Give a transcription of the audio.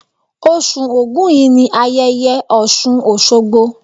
Osù Ògún yìí ni ayẹyẹ Ọ̀ṣùn Òṣogbo.